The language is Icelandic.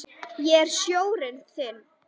Ég er sjórinn þinn.